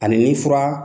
Ani ni fura